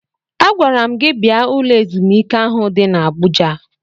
Agwara m gi bia ụlọ ezumike ahụ di n'Abụja.